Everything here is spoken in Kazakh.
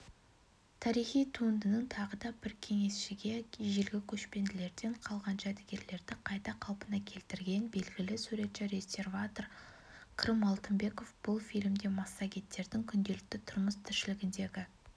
тарихи туындының тағы да бір кеңесшісі ежелгі көшпенділерден қалған жәдігерлерді қайта қалпына келтірген белгілі суретші-реставратор крым алтынбеков бұл фильмде массагеттердің күнделікті тұрмыс-тіршілігіндегі